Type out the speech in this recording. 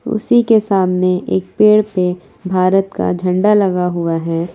उसी के सामने एक पेड़ पे भारत का झंडा लगा हुआ है।